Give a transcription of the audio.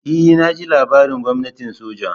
E naji labarin gwamnatin soja.